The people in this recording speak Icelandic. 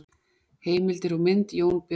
Heimildir og mynd: Jón Björnsson.